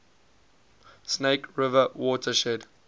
snake river watershed